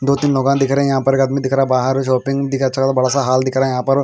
दो तीन लोग दिख रहे है यहाँ पर एक आदमी दिख रहा है बाहर बडासा हॉल दिख रहे यहाँ पर --